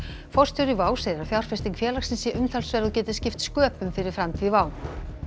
forstjóri WOW segir að fjárfesting félagsins sé umtalsverð og geti skipt sköpum fyrir framtíð WOW